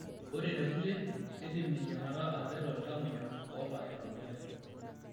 Ore tekulie, keidim eyiang'ata atareto iltamoyiak oota ina moyian.